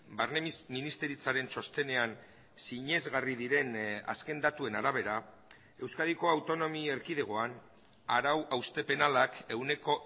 barne ministeritzaren txostenean sinesgarri diren azken datuen arabera euskadiko autonomi erkidegoan arau hauste penalak ehuneko